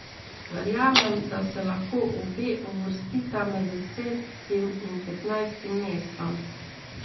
Verjamem, da se lahko obe uvrstita med desetim in petnajstim mestom.